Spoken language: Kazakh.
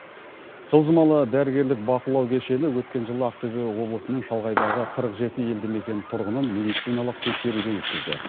жылжымалы дәрігерлік бақылау кешені өткен жылы ақтөбе облысының шалғайдағы қырық жеті елді мекеннің тұрғынын медициналық ексеруден өткізді